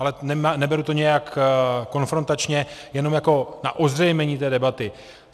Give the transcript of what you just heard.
Ale neberu to nějak konfrontačně, jenom jako na ozřejmění té debaty.